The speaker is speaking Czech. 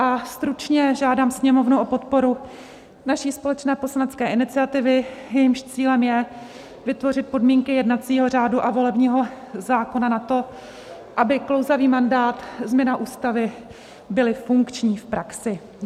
A stručně: žádám Sněmovnu o podporu naší společné poslanecké iniciativy, jejímž cílem je vytvořit podmínky jednacího řádu a volebního zákona na to, aby klouzavý mandát, změna ústavy, byly funkční v praxi.